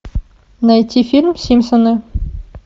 найти фильм симпсоны